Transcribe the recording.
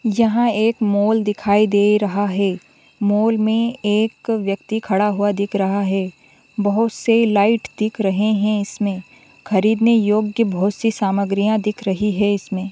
यहाँ एक मॉल दिखाई दे रहा है मॉल में एक व्यक्ति खड़ा हुआ दिख रहा हैं बहुत से लाइट दिख रहे हैं इसमें खरीदने योग्य बहुत सी सामग्री दिख रही है इसमें।